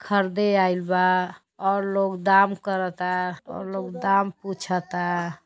खरदे आइल बा और लोग दाम करता और लोग दाम पुछता।